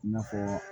I n'a fɔ